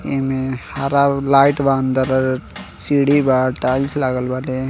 एमे हरा लाइट बा अंदर सीढ़ी बा टाइल्स लागल बाटे।